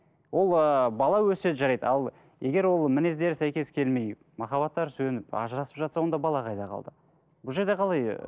ол ыыы бала өссе жарайды ал егер ол мінездері сәйкес келмей махаббаттары сөніп ажырасып жатса онда бала қайда қалды бұл жерде қалай ы